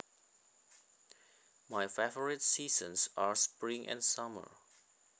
My favorite seasons are spring and summer